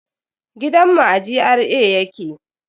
Gidan mu a GRA yake